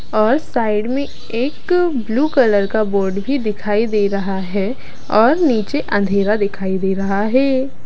और साइड में एक ब्लू कलर का बोर्ड भी दिखाई दे रहा है और नीचे अंधेरा दिखाई दे रहा है।